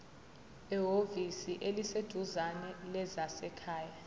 ehhovisi eliseduzane lezasekhaya